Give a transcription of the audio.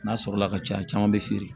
N'a sɔrɔla ka ca caman bɛ feere